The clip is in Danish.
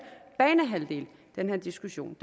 banehalvdel den her diskussion